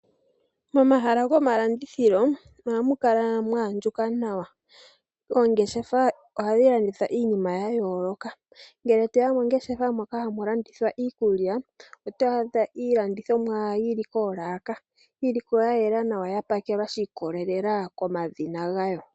Momahala gomalandithilo ohamu kala mwa andjuka nawa. Oongeshefa ohadhi landitha Iinima ya yooloka. Ngele toya mongeshefa moka hamu landithwa iikulya, oto adha iilandithomwa yili koolaka, yili ko ya yela nawa, ya pakelwa shi ikolelela komadhina gayo.